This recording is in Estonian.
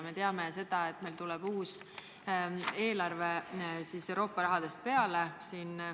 Me teame, et uus eelarve tuleb Euroopa rahadest peale.